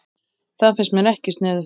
Það finnst mér ekki sniðugt